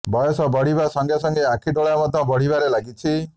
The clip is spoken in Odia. ବୟସ ବଢିବା ସଙ୍ଗେ ସଙ୍ଗେ ଆଖିଡୋଳା ମଧ୍ୟ ବଢିବାରେ ଲାଗିଛି